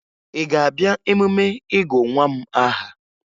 Ị ga-abịa emume ịgụ nwa m aha?